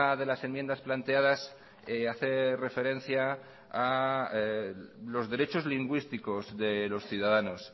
de las enmiendas planteadas hace referencia a los derechos lingüísticos de los ciudadanos